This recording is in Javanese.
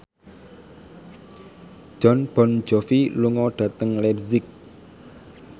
Jon Bon Jovi lunga dhateng leipzig